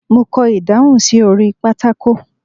Mo kọ ìdáhùn sí orí pátákó.